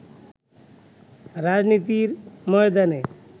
রাজনীতির ময়দানে